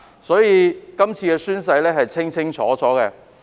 所以，這次宣誓的規定是清清楚楚的。